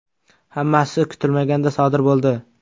Hammasi kutilmaganda sodir bo‘ldi.